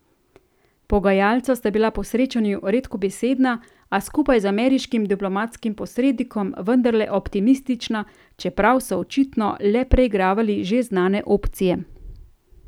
Pogajalca sta bila po srečanju redkobesedna, a skupaj z ameriškim diplomatskim posrednikom vendarle optimistična, čeprav so očitno le preigravali že znane opcije.